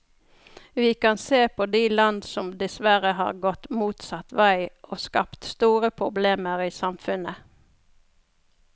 Vi kan se på de land som dessverre har gått motsatt vei og skapt store problemer i samfunnet.